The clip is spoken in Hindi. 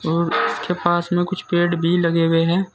और उसके पास में कुछ पेड़ भी लगे हुए हैं।